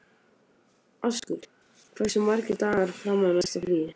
Askur, hversu margir dagar fram að næsta fríi?